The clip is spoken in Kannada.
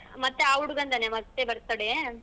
ಮತ್ತೇ ಆ ಹುಡುಗಂದೇನ ಮತ್ತೆ birthday .